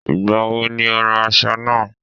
Ìgbà wo ni o ra aṣọ náà?